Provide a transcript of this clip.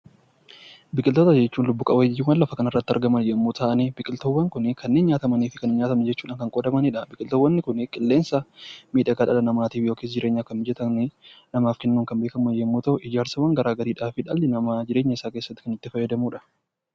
Biqiloota jechuun lubb-qabbeeyyii lafa kanarrati argaman yommuu ta'an, biqiltuuwwan Kun kanneen nyaatamanii fi hin nyaatamnetti kan qoodamanidha. Qilleensa miidhagaa dhala namaatiif kennuun kan beekame yoo ta'u, ijaarsa garaagaraatiif kan dhalli namaa itti fayyadamudha